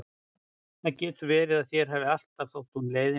Það getur verið að þér hafi alltaf þótt hún leiðinleg og ekki traustsins verð.